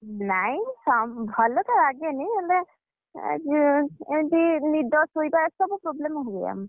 ନାଇ ଭଲ ତ ଲାଗେନି, ହେଲେ, ଏଁ ଏମିତି ନିଦ ଶୋଇବା ଏସବୁ problem ହୁଏ ଆମର।